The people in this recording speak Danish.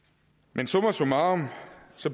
men summa summarum